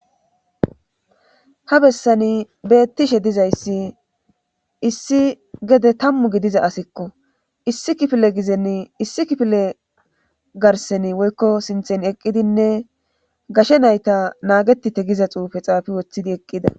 ha bessani beettishe dizayssi issi gede tammu gidiza asikko issi kifile gizenni issi kifile garseni woykko sinthen eqqidinne gashe nayta naageti te giza xuufe xaafi woththidi eqqida